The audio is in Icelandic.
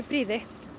prýði